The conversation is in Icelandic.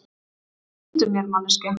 Hvað viltu mér, manneskja?